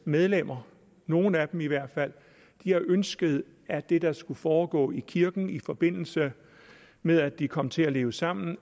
medlemmer nogle af dem i hvert fald har ønsket at det der skal foregå i kirken i forbindelse med at de kommer til at leve sammen